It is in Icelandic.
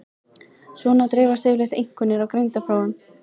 Svona dreifast yfirleitt einkunnir á greindarprófum.